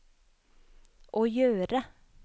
å gjøre